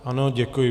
Ano, děkuji.